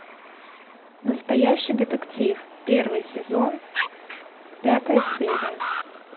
настоящий детектив первый сезон пятая серия